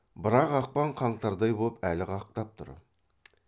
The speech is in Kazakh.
бірақ ақпан қаңтардай боп әлі қақтап тұр